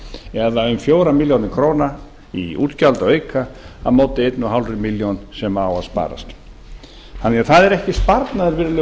eða um fjórar milljónir króna í útgjaldaauka á móti eins og hálfa milljón sem á að sparast það er því ekki sparnaður